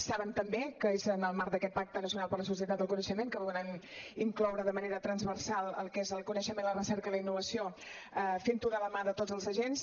saben també que és en el marc d’aquest pacte nacional per la societat del coneixement que volem incloure de manera transversal el que és el coneixement la recerca i la innovació fent ho de la mà de tots els agents